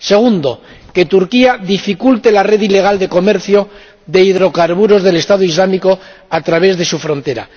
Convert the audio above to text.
segundo, Turquía ha de dificultar la red ilegal de comercio de hidrocarburos del Estado Islámico a través de su frontera